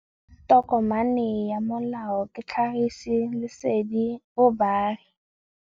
Tokomane ya molao ke tlhagisi lesedi go baagi.